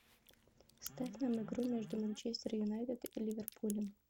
ставь нам игру между манчестер юнайтед и ливерпулем